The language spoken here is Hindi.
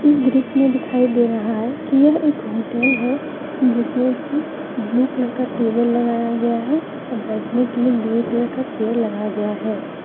इस दृश्य मे दिखाई दे रहा है कि यह एक होटल है जिसमें कि ब्लू कलर का टेबल लगाया गया और बैठने के लिए ग्रे कलर का चेयर लगाया गया है।